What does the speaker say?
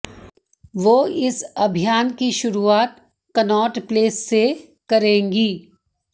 वो इस अभियान की शुरुआत कनॉट प्लेस से करेंगी